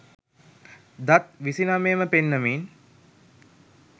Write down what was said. දත් විසිනමයම පෙන්නමින්